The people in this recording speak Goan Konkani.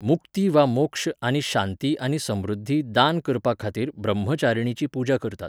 मुक्ती वा मोक्ष आनी शांती आनी समृध्दी दान करपाखातीर ब्रह्मचारिणीची पुजा करतात.